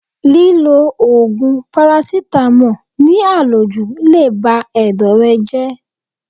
Lílọ Ògùn parasítámọ̀ ní à lòjù le bá Ẹ̀dọ̀ rẹ jẹ́.